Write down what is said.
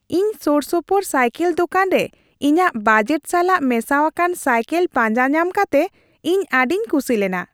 ᱤᱧ ᱥᱳᱨᱥᱳᱯᱳᱨ ᱥᱟᱭᱠᱮᱞ ᱫᱳᱠᱟᱱ ᱨᱮ ᱤᱧᱟᱹᱜ ᱵᱟᱡᱮᱴ ᱥᱟᱞᱟᱜ ᱢᱮᱥᱟᱣᱟᱠᱟᱱ ᱥᱟᱭᱠᱮᱞ ᱯᱟᱧᱡᱟ ᱧᱟᱢ ᱠᱟᱛᱮ ᱤᱧ ᱟᱹᱰᱤᱧ ᱠᱩᱥᱤ ᱞᱮᱱᱟ ᱾